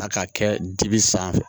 A ka kɛ dibi sanfɛ